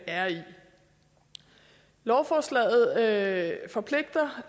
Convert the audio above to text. er i lovforslaget forpligter